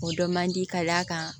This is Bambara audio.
O dɔ man di ka d'a kan